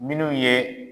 Minnu ye